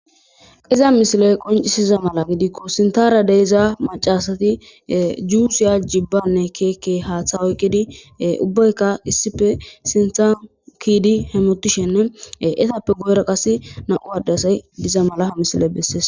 iza misiley qoncisiza mala gidikko sintara deiza macasati juusiya jibbanne keekke haaththa oyqidi ubbayka issife sinthan kiidi hemotishenne etappe goyra qas nam'u addasay diza mala ha misile bessees